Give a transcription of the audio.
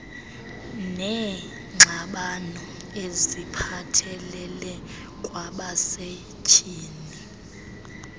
neengxabano eziphathelele kwabasetyhini